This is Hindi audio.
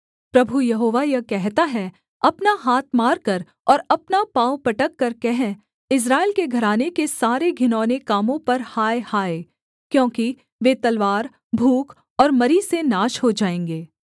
प्रभु यहोवा यह कहता है अपना हाथ मारकर और अपना पाँव पटककर कह इस्राएल के घराने के सारे घिनौने कामों पर हाय हाय क्योंकि वे तलवार भूख और मरी से नाश हो जाएँगे